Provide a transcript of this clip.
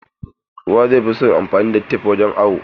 Kowa zai fi son anfani da tep wurin awo.